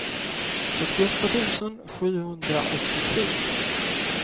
sextioåtta tusen sjuhundraåttiotre